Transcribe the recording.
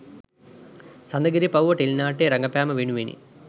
සඳගිරිපව්ව ටෙලිනාට්‍යයේ රඟපෑම වෙනුවෙනි.